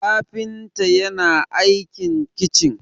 kafinta yana aikin kicin